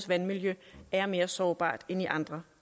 vandmiljø er mere sårbart end i andre